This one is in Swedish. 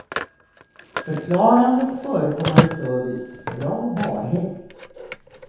Förklarande och förekommande service, bra barhäng.